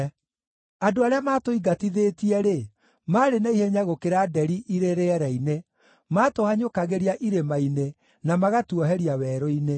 Andũ arĩa matũingatithĩtie-rĩ, maarĩ na ihenya gũkĩra nderi irĩ rĩera-inĩ; maatũhanyũkagĩria irĩma-inĩ, na magatuoheria werũ-inĩ.